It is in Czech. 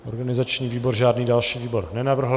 Organizační výbor žádný další výbor nenavrhl.